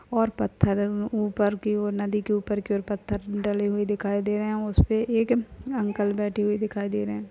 और पत्थर उ ऊपर की और नदी की ऊपर की और पत्थर डले हुए दिखाई दे रहे है। उसपे एक अंकल बैठे हुए दिखाई दे रहे है।